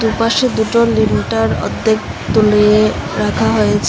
পাশে দুটো লিনটন অর্ধেক তুলে রাখা হয়েছে।